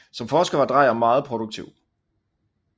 Som forsker var Drejer meget produktiv